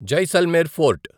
Jaisalmer fort